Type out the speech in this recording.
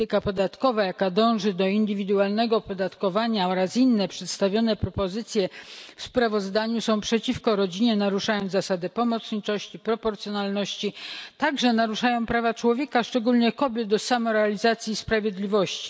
Polityka podatkowa, jaka dąży do indywidualnego opodatkowania, oraz inne przedstawione propozycje w sprawozdaniu są przeciwko rodzinie, naruszają zasadę pomocniczości i proporcjonalności, także naruszają prawa człowieka, szczególnie kobiet do samorealizacji i sprawiedliwości.